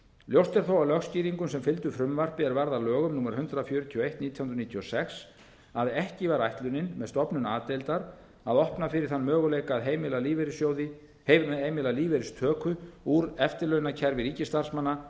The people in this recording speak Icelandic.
ljóst er þó af lögskýringum sem fylgdu frumvarpi er varð að lögum númer hundrað fjörutíu og eitt nítján hundruð níutíu og sex að ekki var ætlunin með stofnun a deildar að opna fyrir þann möguleika að heimila lífeyristöku úr eftirlaunakerfi ríkisstarfsmanna